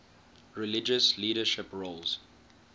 religious leadership roles